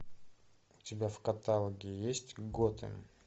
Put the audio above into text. у тебя в каталоге есть готэм